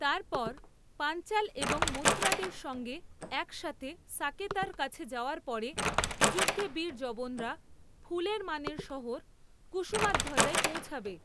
তারপর, পাঞ্চাল এবং মথুরাদের সঙ্গে একসাথে সাকেতার কাছে যাওয়ার পরে, যুদ্ধে বীর যবনরা, ফুলের মানের শহর কুসুমাধ্বজায় পৌঁছাবে।